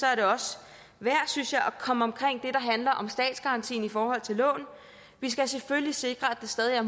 er det også værd synes jeg at komme omkring det handler om statsgarantien i forhold til lån vi skal selvfølgelig sikre at det stadig i